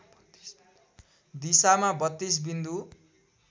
दिशामा ३२ बिन्दु